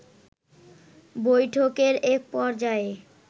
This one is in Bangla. বৈঠকের একপর্যায়ে